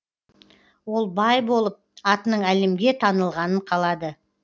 ол бай болып атының әлемге танылғанын қалады